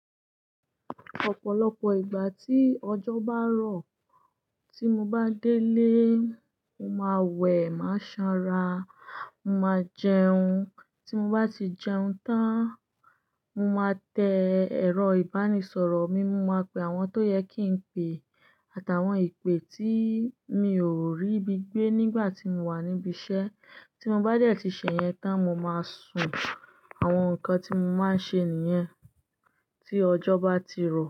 Ọ̀pọ̀lọpọ̀ ìgbà tí ọjọ́ bá rọ̀, tí mo bá délé, mo máa wẹ̀, máa sanra, mo máa jẹun. Tí mo bá ti jẹun tán, mo máa tẹ ẹ̀rọ ìbánisọ̀rọ̀ mi, mo máa pe àwọn tó yẹ kí n pe àti àwọn ìpè tí mi ò rí bi gbé nígbà tí mo wà níbi iṣẹ́. Tí mo bá déẹ̀ tí sẹ̀yẹn tán, mo máa sùn. Àwọn nǹkan tí mo máa ń ṣe nìyẹn tí ọjọ́ bá ti rọ̀